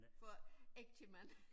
For ægte mænd